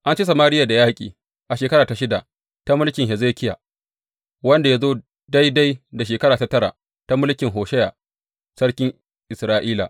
An ci Samariya da yaƙi a shekara ta shida ta mulki Hezekiya, wanda ya zo daidai da shekara ta tara ta mulkin Hosheya sarkin Isra’ila.